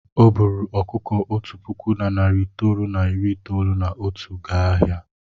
O buuru ọkụkọ otu puku na narị itoolu na iri itoolu na otu gaa ahịa.